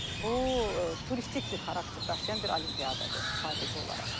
bu turistik bir xarakter daşıyan bir olimpiyadır sadəcə olaraq.